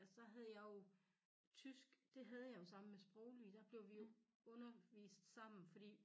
Altså der havde jeg jo tysk det havde jeg jo sammen med sproglige der blev vi jo undervist sammen fordi